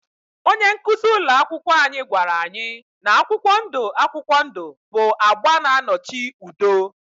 Onye nkuzi ụlọ akwụkwọ anyị gwara anyị na akwụkwọ ndụ akwụkwọ ndụ bụ agba na-anọchi anya udo